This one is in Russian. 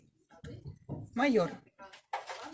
майор